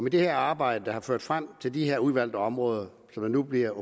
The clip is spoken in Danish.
i det arbejde der har ført frem til at de her udvalgte områder nu bliver